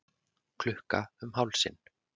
Klukka um hálsinn.